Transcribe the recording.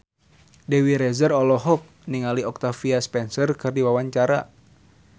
Dewi Rezer olohok ningali Octavia Spencer keur diwawancara